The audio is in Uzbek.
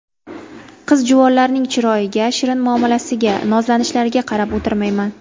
Qiz-juvonlarning chiroyiga, shirin muomalasiga, nozlanishlariga qarab o‘tirmayman.